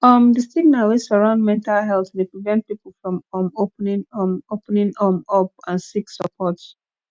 um di stigma wey surround mental health dey prevent people from um opening um opening um up and seek suppprt